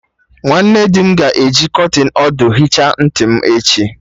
Nwanne dị m ga-eji kọtịn ọdụ hicha ntị m echi